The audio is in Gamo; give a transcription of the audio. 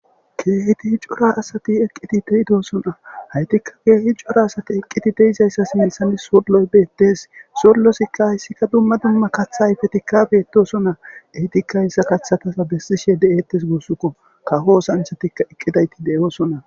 keehiti hi jora asati eqqiti deidoosona haytikka keehi jora asati eqqiti deizayssa similsanis solloy beettes sollosikka hayssikka dumma dumma katha ayfetikka bettosona ehytikayssa kathatasa bessishe de7ettes guussukko kaho osanchatikka eqqidayti deyoosona